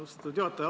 Austatud juhataja!